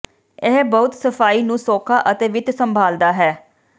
ਇਹ ਬਹੁਤ ਸਫਾਈ ਨੂੰ ਸੌਖਾ ਅਤੇ ਵਿੱਤ ਸੰਭਾਲਦਾ ਹੈ